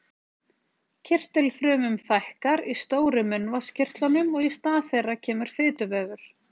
Kirtilfrumum fækkar í stóru munnvatnskirtlunum og í stað þeirra kemur fituvefur.